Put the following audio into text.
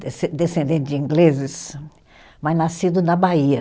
desce, descendente de ingleses, mas nascido na Bahia.